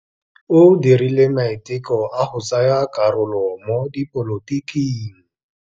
O dirile maitekô a go tsaya karolo mo dipolotiking.